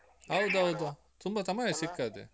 ಹೌದೌದು ತುಂಬ ಸಮಯಾ ಸಿಕ್ಕದೆ